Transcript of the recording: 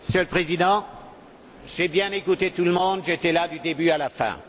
Monsieur le Président, j'ai bien écouté tout le monde, j'étais là du début à la fin.